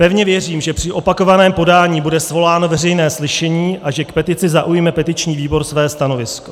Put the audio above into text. Pevně věřím, že při opakovaném podání bude svoláno veřejné slyšení a že k petici zaujme petiční výbor své stanovisko.